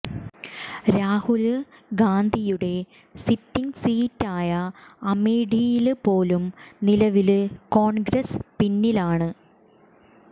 രാഹുല് ഗാന്ധിയുടെ സിറ്റിങ് സീറ്റായ അമേഠിയില് പോലും നിലവില് കോണ്ഗ്രസ് പിന്നിലാണ്